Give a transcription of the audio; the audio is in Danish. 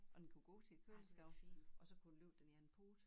Og den kunne gå til æ køleskab og så kunne den løfte den ene pote